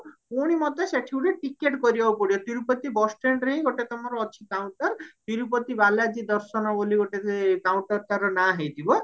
ପୁଣି ମତେ ସେଠି ଗୋଟେ ticket କରିବାକୁ ପଡିବ ତିରୁପତି bus standରେ ହିଁ ଗୋଟେ ତମର ଅଛି counter ତିରୁପତି ବାଲାଜୀ ଦର୍ଶନ ବୋଲି ଗୋଟେ counter ତାର ନାଁ ହେଇଥିବା